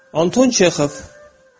Anton Çexov.